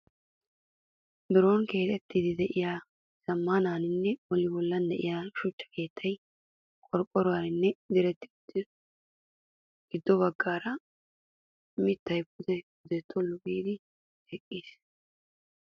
Biron keexettiiddi diyaa zammaana bolli bollan diyaa shucha keettayi qorqqoruwan diretti uttis. Giddo baggaara mittayi pude pude tullu giidi eqqis.